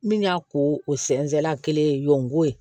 Min y'a ko o sɛnsɛnna kelen yonko ye